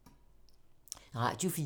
Radio 4